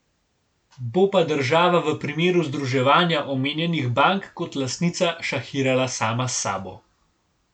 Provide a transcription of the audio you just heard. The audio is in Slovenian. Bo pa država v primeru združevanja omenjenih bank kot lastnica šahirala sama s sabo.